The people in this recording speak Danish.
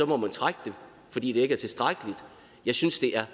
må trække det fordi det ikke er tilstrækkeligt jeg synes det er